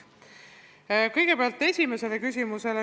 Kõigepealt, esimene küsimus.